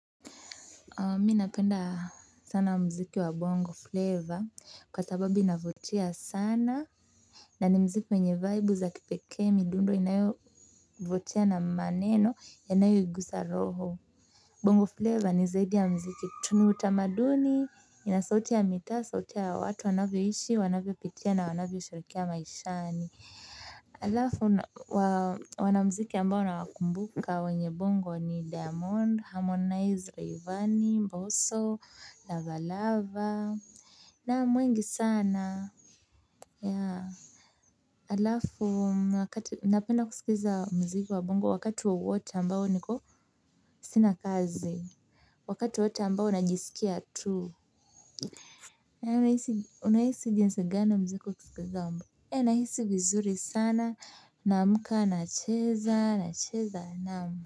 Mimi napenda sana muziki wa bongo flavor kwa sababu inavutia sana na ni muziki wenye vaibu za kipekee midundo inayovutia na maneno yanayoigusa roho. Bongo flavor ni zaidi ya muziki tu utamaduni ina sauti ya mitaa sauti ya watu wanavyoishi wanavyopitia na wanavyoshirikia maishani halafu wana muziki ambao nawakumbuka wenye bongo ni diamond, harmonize rayvani, mboso, lava lava naam wengi sana. Ya halafu wakati napenda kusikiza muziki wa bongo wakati wowote ambao niko sina kazi. Wakati wowote ambao najisikia tu unahisi jinsi gani muziki ukisikizamo nahisi vizuri sana naamka nacheza nacheza naam.